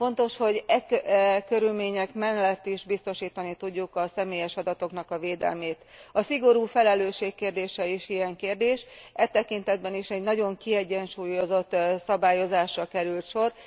Fontos, hogy e körülmények mellett is biztosítani tudjuk a személyes adatoknak a védelmét. A szigorú felelősség kérdése is ilyen kérdés, e tekintetben is egy nagyon kiegyensúlyozott szabályozásra került sor.